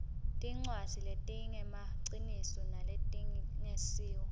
tincwadzi letingemaciniso naletingesiwo